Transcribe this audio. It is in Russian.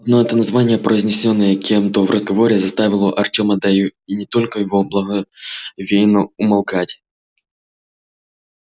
одно это название произнесённое кем-то в разговоре заставляло артема да и не только его благоговейно умолкать